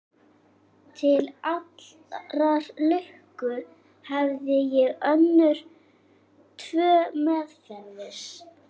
Til allrar lukku hafði ég önnur tvö meðferðis.